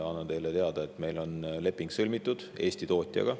Annan teile teada, et meil on leping sõlmitud Eesti tootjaga.